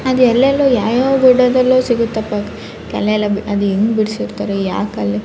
ಅದ್ ಎಲ್ಲೆಲ್ಲೋ ಯಾವ ಯಾವ ಗಿಡದಲ್ಲೋ ಸಿಗತ್ತಪ್ಪಾ ಅದು ಅದ್ ಹೆಂಗ್ ಬಿಡಿಸಿರ್ತಾರೆ ಯಾವ ಕಲೆ --